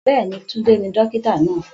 Bẹ́ẹ̀ni, Tunde ni dókítà náà